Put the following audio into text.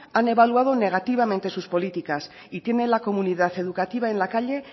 han evaluado negativamente sus políticas y tiene la comunidad educativa en la calle